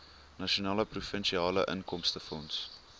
nasionale provinsiale inkomstefonds